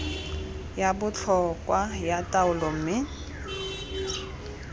ya botlhokwa ya taolo mme